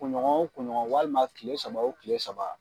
Kun ɲɔgɔn o kun ɲɔgɔn walima kile saba o kile saba.